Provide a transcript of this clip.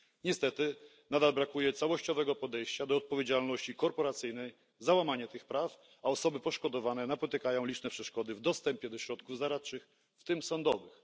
Niestety nadal brakuje całościowego podejścia do odpowiedzialności korporacyjnej za łamanie tych praw, a osoby poszkodowane napotykają liczne przeszkody w dostępie do środków zaradczych, w tym sądowych.